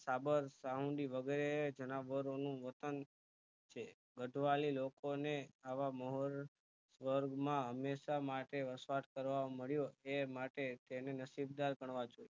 સાબર સાહુડી વગેરે જણાવરો નું વતન છે ગઢવાલી લોકોને આવા મહોર સ્વર્ગમાં હમેશ માટે વસવાટ કરવામળ્યો તે માટે તેને નસીબદાર ગણવા જોયે